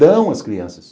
Dão as crianças.